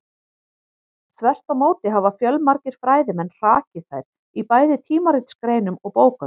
Þvert á móti hafa fjölmargir fræðimenn hrakið þær í bæði tímaritsgreinum og bókum.